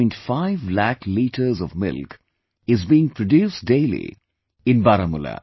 5 lakh liters of milk is being produced daily in Baramulla